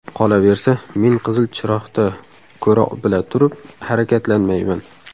Qolaversa, men qizil chiroqda ko‘ra bila turib harakatlanmayman.